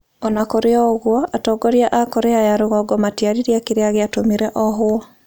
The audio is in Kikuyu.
O na kũrĩ ũguo, atongoria a Korea ya Rũgongo matiaririe kĩrĩa gĩatũmire ohwo.